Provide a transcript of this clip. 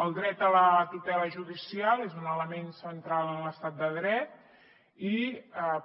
el dret a la tutela judicial és un element central en l’estat de dret i